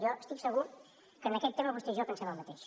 jo estic segur que en aquest tema vostè i jo pensem el mateix